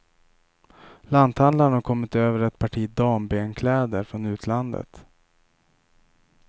Lanthandlarn har kommit över ett parti dambenkläder från utlandet.